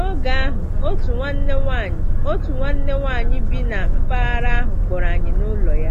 N’oge ahụ, otu nwanne nwanyị otu nwanne nwanyị bi na mpaghara ahụ kpọrọ anyị n’ụlọ ya.